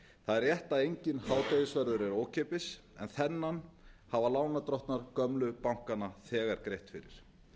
það er rétt að enginn hádegisverður er ókeypis en þennan hafa lánardrottnar gömlu bankanna þegar greitt fyrir